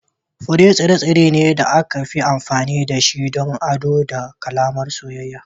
Fure tsire-tsire ne da aka fi amfani da shi don ado ko alamar soyayya.